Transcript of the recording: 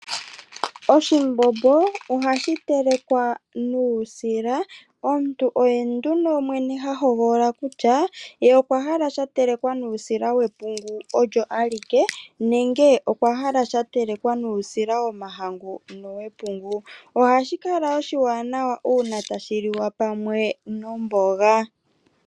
Oshimbombo ohashi telekwa nuusila omuntu oye nduno mwene ha hogolola kutya ye okwa hala sha telekwa nuusila we pungu owo awuke nenge okwa hala sha telekwa nuusila wepungu m nomahangu ohashi kala oshiwanawa uuna tshi liwa pamwe nomboga .